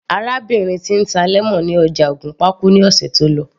Arábìnrin tí ń ta lemon ní ọjà ògùnpa kú ní ọ̀sẹ̀ tó lọ